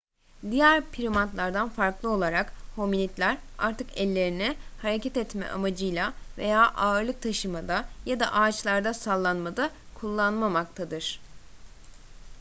diğer primatlardan farklı olarak hominidler artık ellerini hareket amacıyla veya ağırlık taşımada ya da ağaçlarda sallanmada kullanmamaktadır